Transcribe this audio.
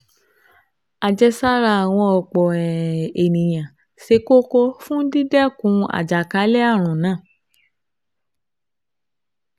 Àjẹsára àwọn ọ̀pọ̀ um èèyàn ṣe kókó fún dídẹ́kun àjàkálẹ̀ ààrùn náà